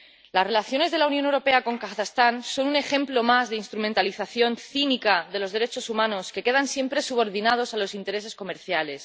Las relaciones de la Unión Europea con Kazajistán son un ejemplo más de instrumentalización cínica de los derechos humanos, que quedan siempre subordinados a los intereses comerciales.